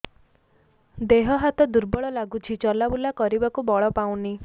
ଦେହ ହାତ ଦୁର୍ବଳ ଲାଗୁଛି ଚଲାବୁଲା କରିବାକୁ ବଳ ପାଉନି